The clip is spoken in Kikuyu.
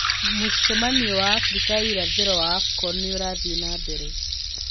Mũcemanio wa Africa ya irathĩro wa Afcon nĩ ũrathiĩ na mbere